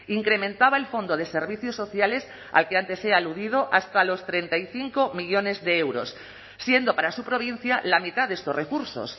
incrementaba el fondo de servicios sociales al que antes he aludido hasta los treinta y cinco millónes de euros siendo para su provincia la mitad de estos recursos